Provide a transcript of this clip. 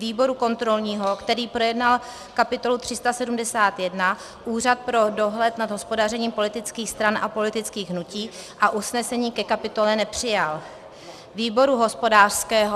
výboru kontrolního, který projednal kapitolu 371 Úřad pro dohled nad hospodařením politických stran a politických hnutí a usnesení ke kapitole nepřijal; výboru hospodářského...